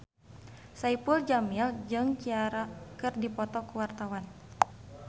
Saipul Jamil jeung Ciara keur dipoto ku wartawan